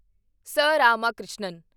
ਸ. ਰਾਮਾਕ੍ਰਿਸ਼ਨਨ